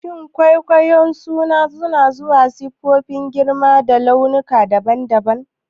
Shin kwayoyin suna zuwa da siffofi, girma da launuka daban-daban?